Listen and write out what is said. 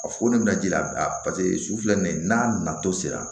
A foni bɛna ji la paseke su filɛ nin ye n'a nato sera